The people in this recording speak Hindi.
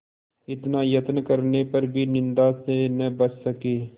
इतना यत्न करने पर भी निंदा से न बच सके